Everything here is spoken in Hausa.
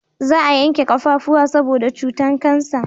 Za a yanke kafafuwa saboda cutan kansa